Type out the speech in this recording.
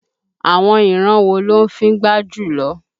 Àwọn ìran wo ló ń fíngbá jùlọ?